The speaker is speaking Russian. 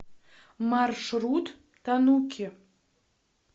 маршрут тануки